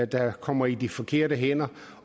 der kommer i de forkerte hænder